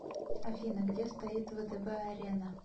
афина где стоит втб арена